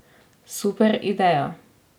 Super ideja!